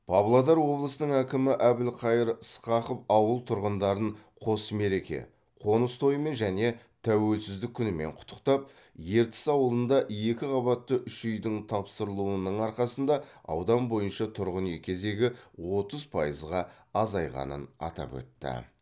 павлодар облысының әкімі әбілқайыр сқақов ауыл тұрғындарын қос мереке қоныс тойымен және тәуелсіздік күнімен құттықтап ертіс ауылында екі қабатты үш үйдің тапсырылуының арқасында аудан бойынша тұрғын үй кезегі отыз пайызға азайғанын атап өтті